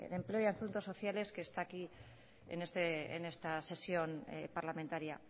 de empleo y asuntos sociales que está aquí en esta sesión parlamentaria